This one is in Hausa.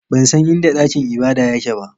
Ban san inda dakin ibada yake ba.